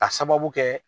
Ka sababu kɛ